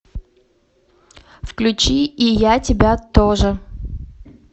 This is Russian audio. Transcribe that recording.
включи и я тебя тоже